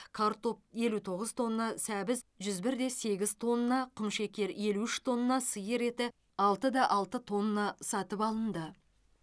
картоп елу тоғыз тонна сәбіз жүз бір де сегіз тонна құмшекер елу үш тонна сиыр еті алты да алты тонна сатып алынды